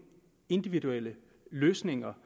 individuelle løsninger